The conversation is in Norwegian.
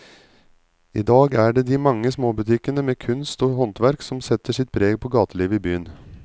I dag er det de mange små butikkene med kunst og håndverk som setter sitt preg på gatelivet i byen.